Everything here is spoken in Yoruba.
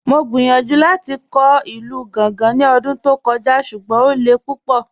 Mọ̀ gbíyànjú láti kọ̀ ilù Gàngá ní ọ̀dún tó kọ̀jà̀, ṣùgbọ́n o lẹ̀ púpọ̀.